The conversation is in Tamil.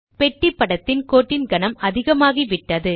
பெட்டி படத்தின் கோட்டின் கனம் அதிகமாகிவிட்டது